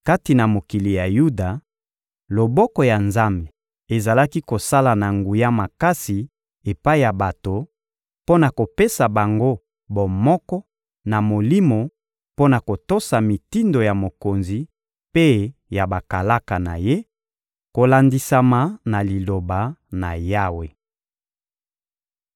Kati na mokili ya Yuda, loboko ya Nzambe ezalaki kosala na nguya makasi epai ya bato, mpo na kopesa bango bomoko na molimo mpo na kotosa mitindo ya mokonzi mpe ya bakalaka na ye, kolandisama na Liloba na Yawe.